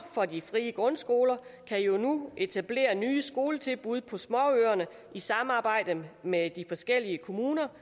for at de frie grundskoler nu etablere nye skoletilbud på småøerne i samarbejde med de forskellige kommuner